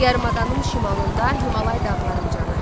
Yarımadanın şimalında Himalay dağları ucalır.